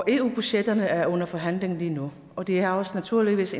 eu budgetterne er under forhandling lige nu og det har naturligvis